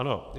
Ano.